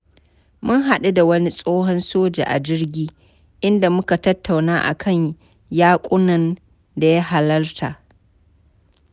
Mun haɗu da wani tsohon soja a jirgi, inda muka tattauna a kan yaƙunan da ya halarta.